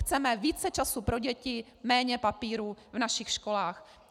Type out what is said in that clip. Chceme více času pro děti, méně papírů v našich školách.